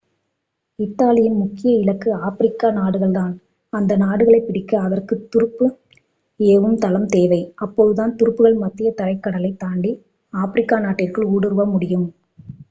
இத்தாலியின் முக்கிய இலக்கு ஆப்பிரிக்க நாடுகள்தான் அந்த நாடுகளை பிடிக்க அதற்கு துருப்பு ஏவும் தளம் தேவை அப்போதுதான் துருப்புகள் மத்தியதரைக்கடலைத் தாண்டி ஆப்பிரிக்க நாட்டிற்குள் ஊடுருவ முடியும்